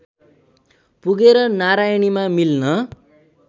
पुगेर नारायणीमा मिल्न